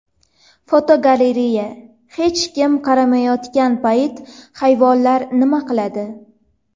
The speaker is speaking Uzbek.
Fotogalereya: Hech kim qaramayotgan payt hayvonlar nima qiladi?.